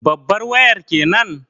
Babbar wayar kenan?